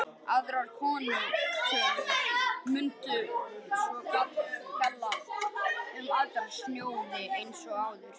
Aðrar krónutölur mundu svo gilda um aðra sjóði eins og áður.